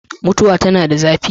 mutuwa tana da zafi